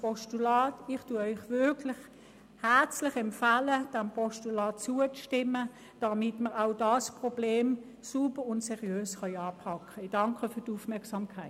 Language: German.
Ich empfehle Ihnen wirklich herzlich, diesem Postulat zuzustimmen, damit wir auch dieses Problem sauber und seriös anpacken können.